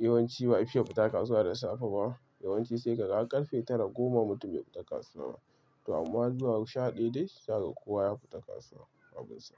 yawanci ba'a fiya fita kasuwa da safe ba. Yawanci sai ka ga har karfe tara, goma mutum bai fita kasuwa. To amma zuwa sha ɗaya dai zaka ga kowa ya fita kasuwa.